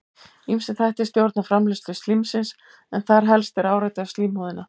Ýmsir þættir stjórna framleiðslu slímsins en þar helst er áreiti á slímhúðina.